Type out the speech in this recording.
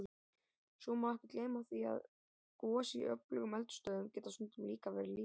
Svo má ekki gleyma því að gos í öflugum eldstöðvum geta stundum líka verið lítil.